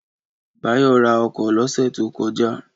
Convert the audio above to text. Báyọ̀ ra ọkọ̀ lọ́sẹ̀ tó kọjá